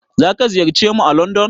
Zaka ziyarce mu à landon.